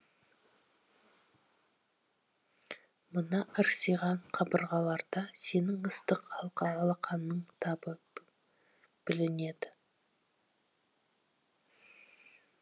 мына ырсиған қабырғаларда сенің ыстық алақаныңның табы білінеді